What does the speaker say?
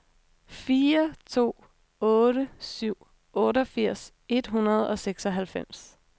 fire to otte syv otteogfirs et hundrede og seksoghalvfems